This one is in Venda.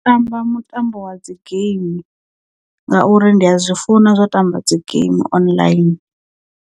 U tamba mutambo wa dzi game ngauri ndi a zwi funa zwa tamba dzi game online.